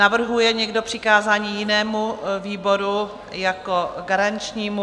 Navrhuje někdo přikázání jinému výboru jako garančnímu?